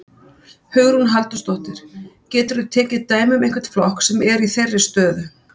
Hugrún Halldórsdóttir: Geturðu tekið dæmi um einhvern flokk sem er í þeirri stöðu?